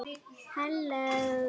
Hún var fædd móðir.